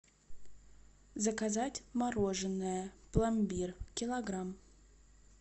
заказать мороженое пломбир килограмм